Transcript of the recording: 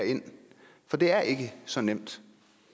for det er ikke så nemt